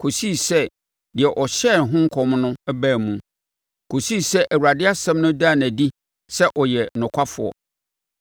kɔsii sɛ deɛ ɔhyɛɛ ho nkɔm no baa mu, kɔsii sɛ Awurade asɛm no daa no adi sɛ ɔyɛ nokwafoɔ.